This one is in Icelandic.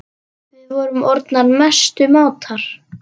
Við vorum orðnar mestu mátar.